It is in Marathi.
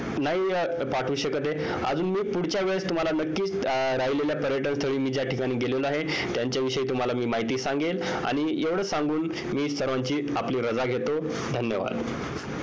नाही पाठवू शकत आहे अजून मी पुढच्या वेळेस तुमहाला नक्कीच राहिलेल्या पर्यटन स्थळी ज्या ठिकाणी मी गेलेलो आहे त्यांच्या विषयी मी तुम्हाला माहिती सांगेन आणि एवढं सांगून मी सर्वांची आपली राजा घेतो धन्यवाद